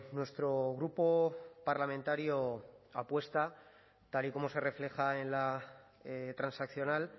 nuestro grupo parlamentario apuesta tal y como se refleja en la transaccional